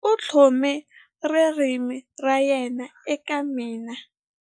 U tlhome ririmi ra yena eka mina.